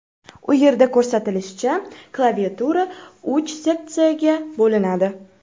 U yerda ko‘rsatilishicha, klaviatura uch seksiyaga bo‘linadi.